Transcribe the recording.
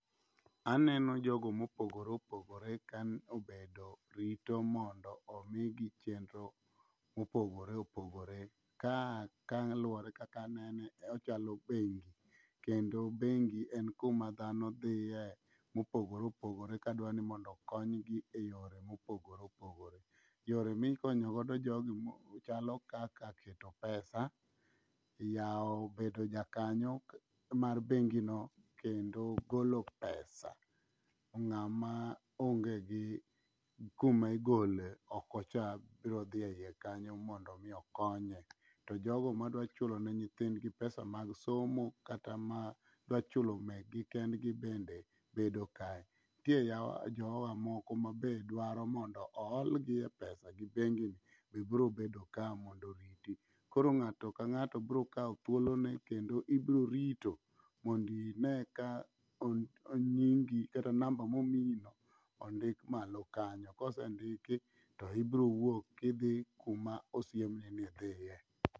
Aneno jogo mopogore opogore ka obedo rito mondo omigi chenro mopogore opogore. Ka kaluwore kaka anene ochalo bengi kendo bengi en kuma dhano dhiye mopogore opogore ka dwa ni mondo okonygi e yore mopogore opogore. Yore mikonyogodo jogi chalo kaka keto pesa, yawo bedo jakanyo mar bengino kendo golo pesa. Ng'ama onge gi kuma igole oko cha birodhi e iye kanyo mondo omi okonye, to jogo madwachulo ne nyithindgi pesa mag somo kata ma dwachulo mekgi kende be bedo kae. Ntie jowa moko ma be dwaro mondo oholgi e pesa gi bengi be biro bedo ka mondo oriti. Koro ng'ato ka ng'ato brokawo thuolone kendo ibrorito mondine ka nyingi kata namba momiyino ondik malo kanyo kosendiki to ibrowuok idhi kuma osiemni ni idhiye.